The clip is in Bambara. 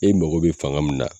E mago be fanga min na